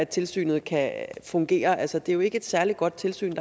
tilsynet kan fungere altså det er jo ikke et særlig godt tilsyn